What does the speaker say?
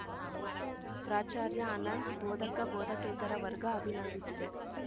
ಪ್ರಾಚಾರ್ಯ ಅನಂತ್‌ ಬೋಧಕ ಬೋಧಕೇತರ ವರ್ಗ ಅಭಿನಂದಿಸಿದೆ